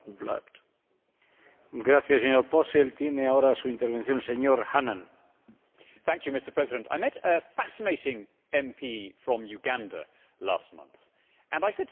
Mr President, I met a fascinating MP from Uganda last month and I said to her What is the effect of all the EU aid that you get?